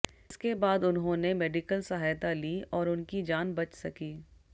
इसके बाद उन्होंने मेडिकल सहायता ली और उनकी जान बच सकी